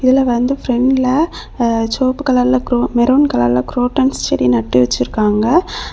இதுல வந்து பிரண்ட்ல சோப்புக்கு கலர்ல மெரூன் கலர்ல குரோட்டன்ஸ் செடி வந்து நட்டு வச்சிருக்காங்க.